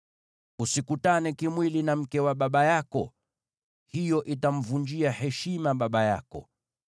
“ ‘Usikutane kimwili na mke wa baba yako; hiyo itamvunjia heshima baba yako.